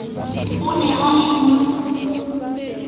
o ne a e na